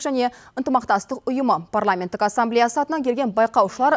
және ынтымақтастық ұйымы парламенттік ассамблеясы атынан келген байқаушылар